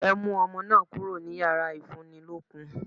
Ẹ mú ọmọ náà kúrò ní yàrá ìfúnnilókun!